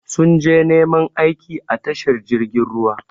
Sun je neman aiki a tashar jirgin ruwa.